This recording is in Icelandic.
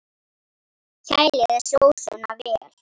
Kælið sósuna vel.